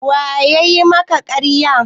Wa yayi maka ƙarya?